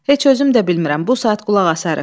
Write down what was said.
Heç özüm də bilmirəm, bu saat qulaq asarıq.